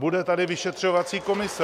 Bude tady vyšetřovací komise!